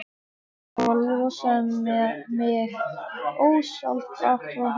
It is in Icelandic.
Og losaði mig ósjálfrátt frá honum.